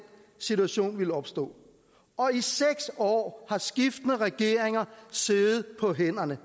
situation ville opstå og i seks år har skiftende regeringer siddet på hænderne